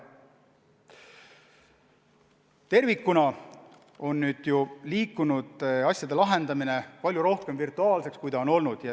Tervikuna aga on asjade lahendamine muutunud palju rohkem virtuaalseks kui seni.